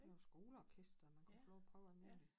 Det var skoleorkester man kunne få lov at prøve alt muligt